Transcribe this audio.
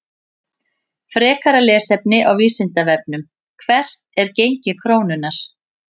Frekara lesefni á Vísindavefnum: Hvert er gengi krónunnar?